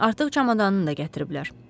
Artıq çamadanını da gətiriblər.